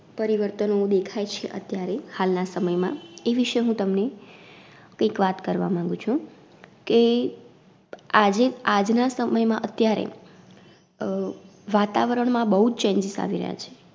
પરિવર્તનો દેખાય છે અત્યારે હાલ ના સમયમાં, એ વિષય હું તમને કઈક વાત કરવા માંગુ છું કે, આજે આજના સમયમાં અત્યારે અ વાતાવરણમાં બઉજ Changes આવી રહ્યા છે.